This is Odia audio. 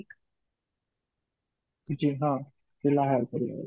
ପିଲା hire କରିବାର